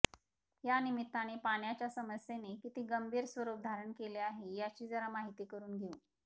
यानिमित्ताने पाण्याच्या समस्येने किती गंभीर स्वरूप धारण केले आहे याची जरा माहिती करून घेऊ